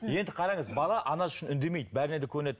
енді қараңыз бала анасы үшін үндемейді бәріне де көнеді